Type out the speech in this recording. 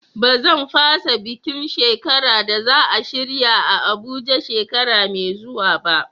Ba zan fasa bukin shekara da za a shirya a Abuja shekara mai zuwa ba.